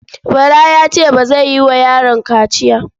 Bala ya ce ba zai yi wa yaron kaciya.